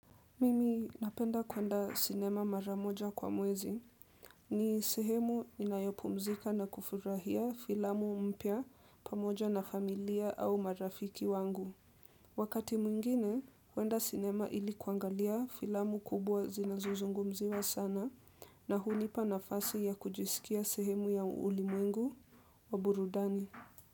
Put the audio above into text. Mimi napenda kwenda sinema maramoja kwa mwezi ni sehemu inayopumzika na kufurahia filamu mpya pamoja na familia au marafiki wangu. Wakati mwingine, kwenda sinema ilikuangalia filamu kubwa zinazuzungumziwa sana na hunipa nafasi ya kujisikia sehemu ya ulimwengu wa burudani.